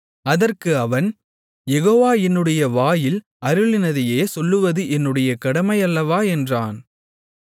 அதற்கு அவன் யெகோவா என்னுடைய வாயில் அருளினதையே சொல்வது என்னுடைய கடமையல்லவா என்றான்